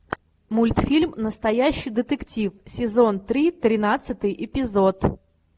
мультфильм настоящий детектив сезон три тринадцатый эпизод